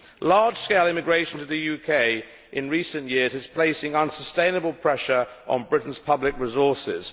Large scale immigration to the UK in recent years is placing unsustainable pressure on Britain's public resources.